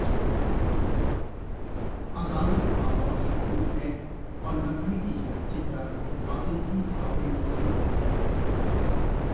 अदालत Lahore high court है और लखवी की जगह चेहरा आतंकी हाफिज सईद का है